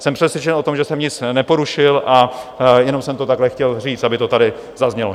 Jsem přesvědčen o tom, že jsem nic neporušil, a jenom jsem to takhle chtěl říct, aby to tady zaznělo.